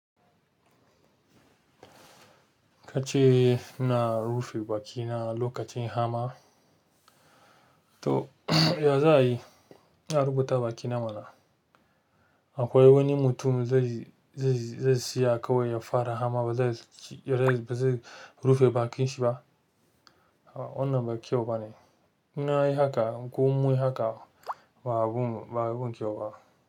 Kace ina rufe baki na lokacin hamma to ya za yi? Ya rubuta banki na mana. Akwai wani mutum zai siya kawai ya fara hama ba zai rufe bankin shi ba? Wanna ba kyau bane. Ina yi haka ko mun yi haka ba abun kyau ba.